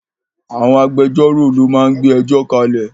Àwọn agbẹjọ́rò lo máa ń gbé ẹjọ́ kalẹ̀